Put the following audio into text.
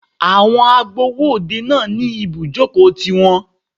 Àwọn agbowó òde náà ní ibùjókòó ti wọn.